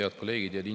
Head kolleegid!